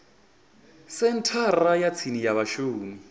senthara ya tsini ya vhashumi